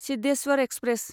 Siddheswar express